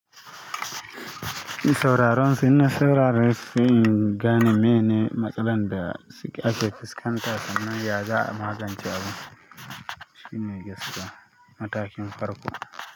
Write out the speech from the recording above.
Sauraron su, ina sauraren su, sai in gane miye ne matsalan da ake fuskanta sannan ya za'a magance abu. Shi ne gaskiya matakin farko.